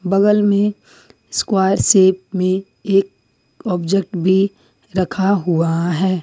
बगल में square shape में एक ऑब्जेक्ट भी रखा हुआ है।